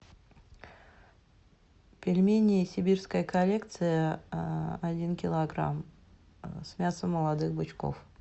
пельмени сибирская коллекция один килограмм с мясом молодых бычков